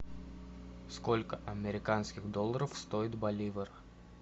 сколько американских долларов стоит боливар